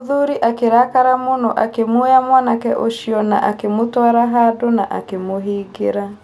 Mũthuri akĩrakara mũno akĩmuoya mwanke ũcio na akĩmũtwara handũ na akĩmũhingĩra.